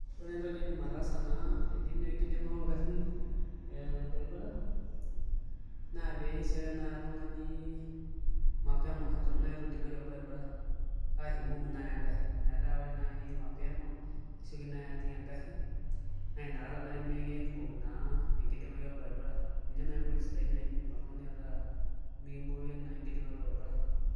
Ore entoki niindim ataasa naa etii naa enkidinga oo ngari ee olbaribara naa peesioyo nai oltungani mapema Eton nai itu idingayu olbaribara aishu imbuuk nai engari metaa ore nai mapema nisioki nai ajing engari naa inakata nai mikibok naa enkidingae olbaribara ninye naji enkoitoi sidai nai nidim oltungani ataa mikimboya nai enkidingae olbaribara